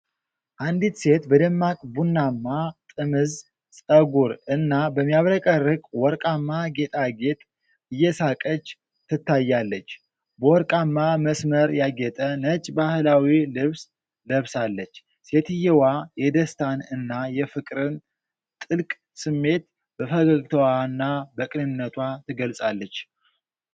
አንዲት ሴት በደማቅ ቡናማ ጥምዝ ፀጉር እና በሚያብረቀርቅ ወርቃማ ጌጣጌጥ እየሳቀች ትታያለች። በወርቃማ መስመር ያጌጠ ነጭ ባህላዊ ልብስ ለብሳለች። ሴትየዋ የደስታን እና የፍቅርን ጥልቅ ስሜት በፈገግታዋና በቅንነቷ ትገልፃለች።